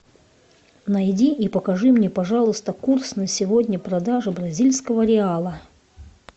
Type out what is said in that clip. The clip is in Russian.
найди и покажи мне пожалуйста курс на сегодня продажи бразильского реала